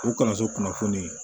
O kalanso kunnafoni